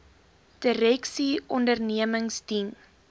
direksies ondernemings dien